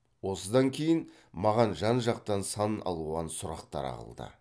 осыдан кейін маған жан жақтан сан алуан сұрақтар ағылды